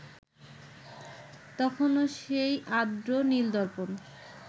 তখনও সেই আর্দ্র নীল-দর্পণ